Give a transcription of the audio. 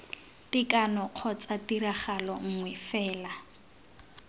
tekano kgotsa tiragalo nngwe fela